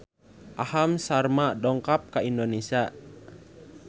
Aham Sharma dongkap ka Indonesia